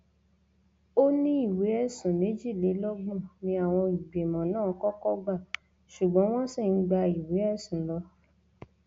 ó ní ìwé ẹsùn méjìlélọgbọn ni àwọn ìgbìmọ náà kọkọ gbà ṣùgbọn wọn sì ń gba ìwé ẹsùn lọ